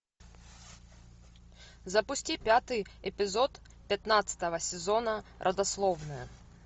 запусти пятый эпизод пятнадцатого сезона родословная